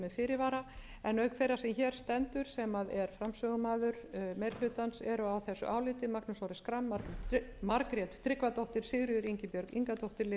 fyrirvara en auk þeirrar sem hér stendur sem er framsögumaður meiri hlutans eru á þessu áliti magnús orri schram margrét tryggvadóttir sigríður ingibjörg ingadóttir lilja mósesdóttir jónína rós guðmundsdóttir